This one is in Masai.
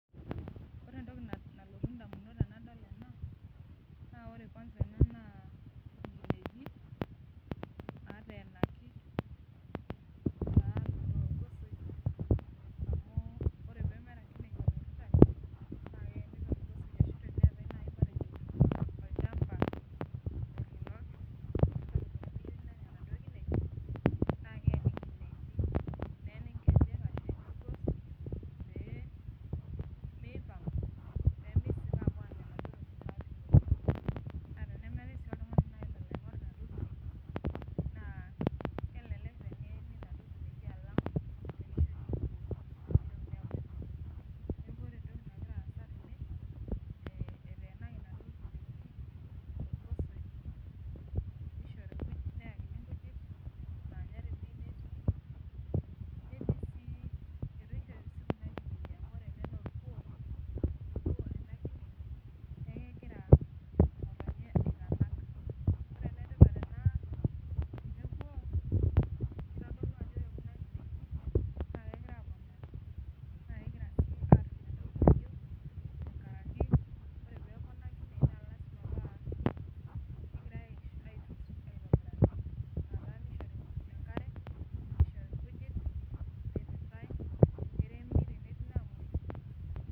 Ore entoki nalotu ndamunot tenadol ena ,naa ore kwasa ena naa nkineji naateneaki torgosoi amu ore pee meeta nkinejik olairitani, na teneeta naaji matejo olchampa tenemeyieuni nenya naduo kineji ,naa keeni nkejek ashu eyeni orgos pee mipang apuo Anya naduo mukuntani. Naa tenemeetae sii oltungani olo aingor naduo kineji naa kelelek teneeni naduo kineji alang tenepuo aingor. Neeku ore entoki nagira aasa tene eteenaki naduo kineji nayakini nkujit naa orkuo sii ena kine neeku kegira ngotonye aitanak. Neeku kitodolu ajo ore kuna kineji naa kegira aponario, naaa kegira sii atum entoki nayieu, tenkaraki ore pee eponari Kuna kineji naa kegirae aitunsa aitobiraki. Ina taa nishori enkare ,nishori nkujit, niritae neremi tenetii nagira amoyu.